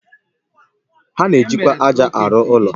Ha na-ejikwa ájá arụ ụlọ